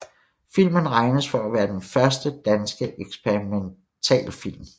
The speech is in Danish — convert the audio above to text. Filmen regnes for at være den første danske eksperimentalfilm